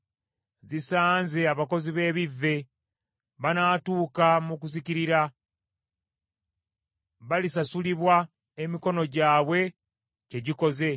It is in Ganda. Zisanze abakozi b’ebivve! Banaatuuka mu kuzikirira! Balisasulibwa emikono gyabwe kye gikoze.